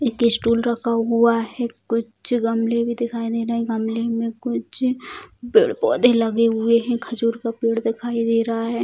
एक स्टूल रखा हुआ है कुछ गमले भी दिखाई दे रहे है गमले में कुछ पेड़-पौधे लगे हुए है खजूर का पेड़ दिखाई दे रहा है।